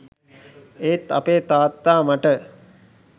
ඒත් අපේ තාත්තා මට